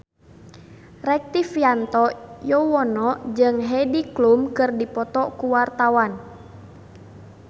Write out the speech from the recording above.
Rektivianto Yoewono jeung Heidi Klum keur dipoto ku wartawan